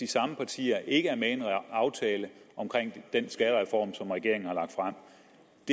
samme partier ikke er med i en aftale omkring den skattereform som regeringen har lagt og